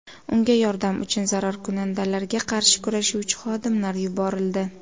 Unga yordam uchun zararkunandalarga qarshi kurashuvchi xodimlar yuborildi.